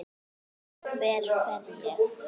Hver fer ég?